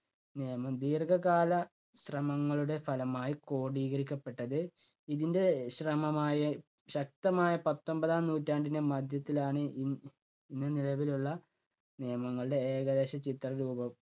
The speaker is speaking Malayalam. നിയമം ദീർഘകാല ശ്രമങ്ങളുടെ ഫലമായി ക്രോഡീകരിക്കപ്പെട്ടത് ഇതിൻ്റെ ശ്രമമായ ശക്തമായ പത്തൊമ്പതാം നൂറ്റാണ്ടിൻ്റെ മധ്യത്തിലാണ് ഇ~ന്ന് നിലവിലുള്ള നിയമങ്ങളുടെ ഏകദേശ ചിത്ര രൂപം.